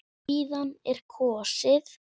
Síðan er kosið.